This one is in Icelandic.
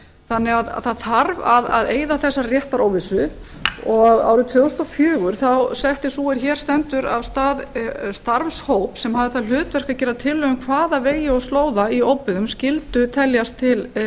þannig að það þarf að eyða þessari réttaróvissu og árið tvö þúsund og fjögur setti sú er hér stendur af stað starfshóp sem hafði það hlutverk að gera tillögu um hvaða vegir og slóðar í óbyggðum skyldu teljast til vega